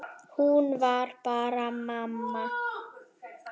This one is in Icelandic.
Hún var bara mamma.